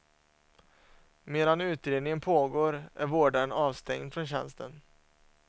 Medan utredningen pågår är vårdaren avstängd från tjänsten.